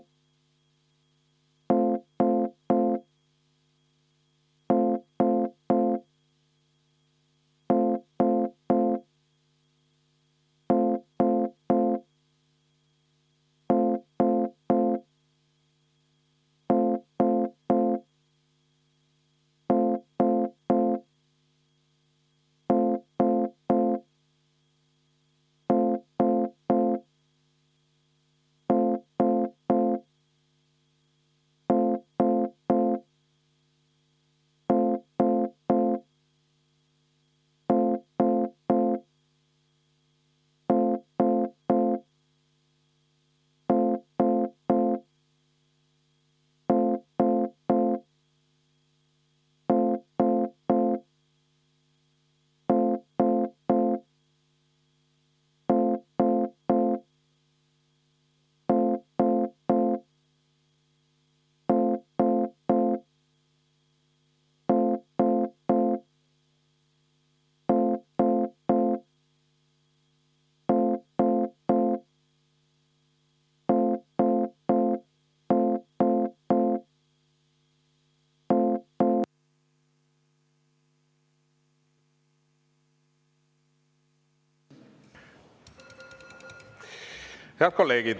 Head kolleegid!